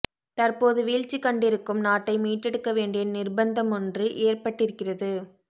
தற்போது வீழ்ச்சி கண்டிருக்கும் நாட்டை மீட்டெடுக்க வேண்டிய நிர்பந்தமொன்று ஏற்பட்டிருக்கிறது